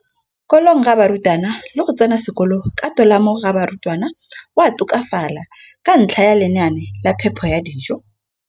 kolong ga barutwana le go tsena sekolo ka tolamo ga barutwana go a tokafala ka ntlha ya lenaane la phepo ya dijo.